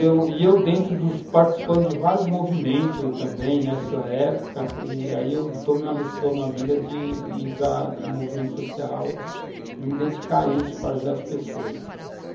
E eu, eu dentro, participando de vários movimentos também nessa época, tomei uma decisão na vida de entrar no movimento social e me dedicar a isso para ajudar as pessoas.